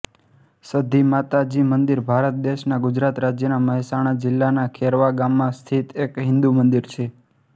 સધીમાતાજી મંદિર ભારત દેશના ગુજરાત રાજ્યના મહેસાણા જિલ્લાના ખેરવા ગામમાં સ્થિત એક હિંદુ મંદિર છે